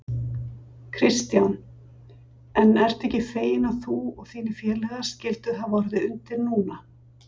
Kristján: En ertu ekki feginn að þú og þínir félagar skylduð hafa orðið undir núna?